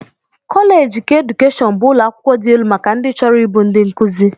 Koleeji keedukeshọn bụ ụlọakwụkwọ dị elu maka ndị chọrọ ịbụ ndị nkụzi